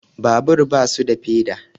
Babura basu da feda